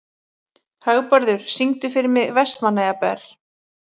Hagbarður, syngdu fyrir mig „Vestmannaeyjabær“.